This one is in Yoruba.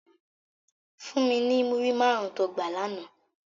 Fún mi ni múrí márùn tó gbá làná